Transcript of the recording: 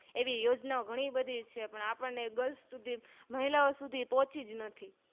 એવી યોજના ઓ ગણી બધી છે પણ આપણે Girls સુધી મહિલા ઓ સુધી પોહ્ચીજ નથી